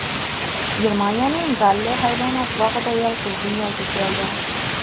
Germaniyaning Galle hayvonot bog‘ida yalqov dunyoga keldi.